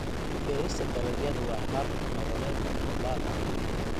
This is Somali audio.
Beerista dalagyadu waa hab nololeed hubaal ah.